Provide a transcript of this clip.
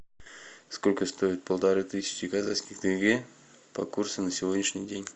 сколько стоит полторы тысячи казахских тенге по курсу на сегодняшний день